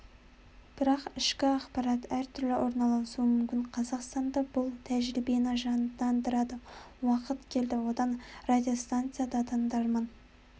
бірақ ішкі ақпарат әртүрлі орналасуы мүмкін қазақстанда бұл тәжірибені жандандыратын уақыт келді одан радиостанция да тыңдарман